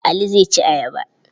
Ali zai ci ayaba.